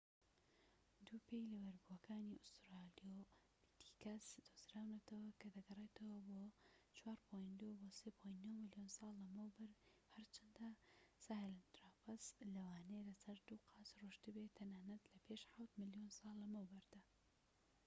دوو پێی لە بەبەردبووەکانی ئوسترالۆپیتیکەس دۆزراونەتەوە کە دەگەڕێتەوە بۆ ٤.٢ بۆ ٣.٩ ملیۆن ساڵ لەمەوبەر، هەرچەندە ساهێلانترۆپەس لەوانەیە لەسەر دوو قاچ ڕۆشتبێ تەنانەت لە پێش حەوت ملیۆن ساڵ لەمەوبەردا